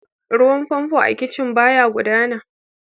Ruwan famfo a kicin ɓaya gudana.